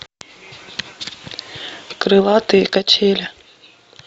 крылатые качели